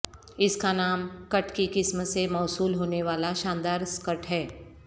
اس کا نام کٹ کی قسم سے موصول ہونے والا شاندار سکرٹ ہے